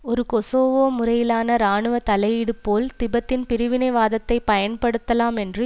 ஒரு கொசோவோ முறையிலான இராணுவ தலையீடு போல் திபெத்தின் பிரிவினைவாதத்தை பயன்படுத்தலாம் என்று